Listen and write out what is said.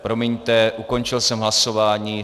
Promiňte, ukončil jsem hlasování.